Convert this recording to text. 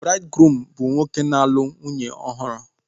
Braidgruum bụ nwoke na-alụ nwunye ọhụrụ